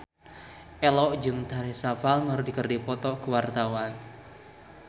Ello jeung Teresa Palmer keur dipoto ku wartawan